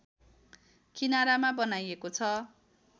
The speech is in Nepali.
किनारमा बनाइएको छ